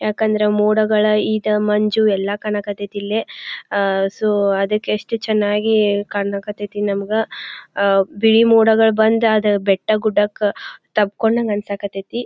ಯಾಕಂದ್ರೆ ಮೋಡಗಳ ಈದ ಮಂಜು ಎಲ್ಲಾ ಕಾಣಕತೈತಿಲ್ಲಿ ಆಆ ಸೋ ಅದಕ್ಕೆ ಎಷ್ಟು ಚನ್ನಾಗಿ ಕಾಣಕತೈತಿ ನಮ್ಗ ಆಆ ಬಿಳಿ ಮೋಡಗಳ್ ಬಂದಾದ ಬೆಟ್ಟ ಗುಡ್ಡಕ್ ತಬ್ ಕೊಂಡಂಗ್ ಆನ್ಸಕತೈತಿ.